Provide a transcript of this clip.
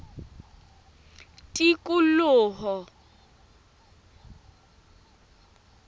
tikoloho